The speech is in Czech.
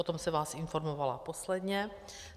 O tom jsem vás informovala posledně.